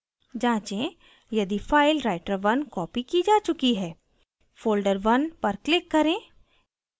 जाँचें यदि file writer1 copied की जा check है folderone पर click करें